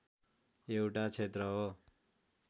एउटा क्षेत्र हो